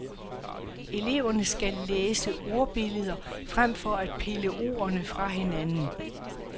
Eleverne skal læse ordbilleder fremfor at pille ordene fra hinanden.